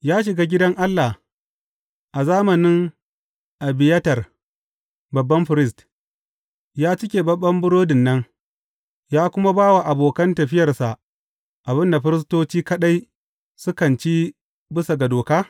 Ya shiga gidan Allah a zamanin Abiyatar babban firist, ya ci keɓaɓɓen burodin nan, ya kuma ba wa abokan tafiyarsa abin da firistoci kaɗai sukan ci bisa ga doka?